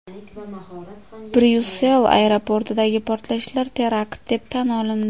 Bryussel aeroportidagi portlashlar terakt deb tan olindi.